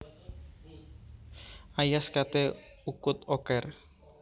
Ayas kate ukut oker